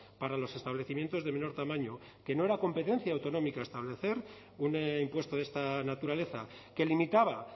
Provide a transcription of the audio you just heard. para los establecimientos de menor tamaño que no era competencia autonómica establecer un impuesto de esta naturaleza que limitaba